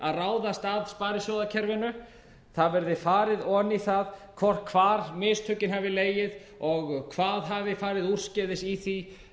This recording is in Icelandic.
að ráðast að sparisjóðakerfinu það verði farið ofan í það hvar mistökin hafi legið og hvað hafi farið úrskeiðis í því